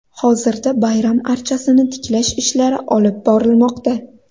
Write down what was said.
Hozirda bayram archasini tiklash ishlari olib borilmoqda.